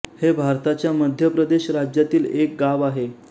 हे भारताच्या मध्य प्रदेश राज्यातील एक गाव आहे